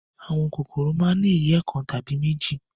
Àwọn kòkòrò ni ìyẹ́ kan tàbí méjì.